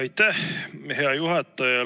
Aitäh, hea juhataja!